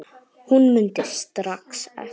Hún mundi strax eftir